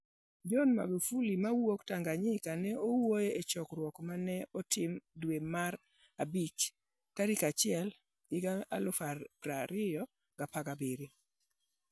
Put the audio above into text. John Magufuli mawuok Tanganyika ne owuoyo e chokruok ma ne otim dwe mara bich 1, 2017.